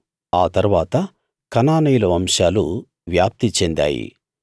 ఆ తరువాత కనానీయుల వంశాలు వ్యాప్తి చెందాయి